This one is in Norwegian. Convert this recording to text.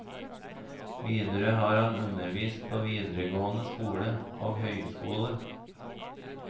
Videre har han undervist på videregående skole og høyskole.